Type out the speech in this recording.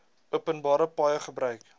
openbare paaie gebruik